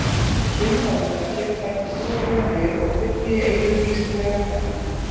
sumir álíta að hér taki trúarbrögðin við og fylli í eyður vísindalegrar þekkingar